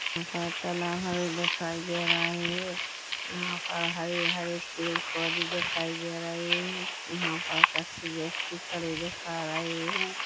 यहाँ पर तलाब हमे देखाई दे रहा है यहाँ पर हरे-हरे पेड़-पौधे दिखाई दे रही है यहाँ पर कुछ व्यक्ति खड़े देखा रहे है।